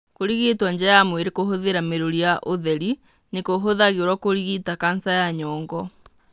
Kũrigitwo nja wa mwĩrĩ kũhũthĩra mĩrũri ya ũtheri nĩ kũhũthagĩrwo kũrigita kanca ya nyongo.